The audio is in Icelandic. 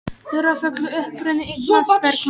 Dularfullur uppruni Ingmars Bergman